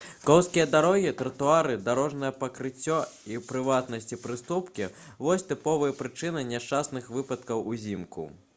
коўзкія дарогі тратуары дарожнае пакрыццё і у прыватнасці прыступкі вось тыповыя прычыны няшчасных выпадкаў узімку